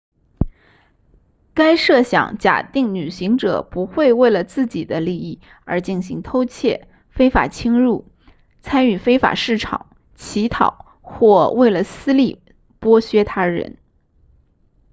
该设想假定旅行者不会为了自己的利益而进行偷窃非法侵入参与非法市场乞讨或为了私利剥削他人